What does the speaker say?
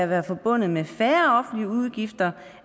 være forbundet med færre offentlige udgifter